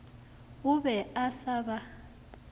o be a sa ba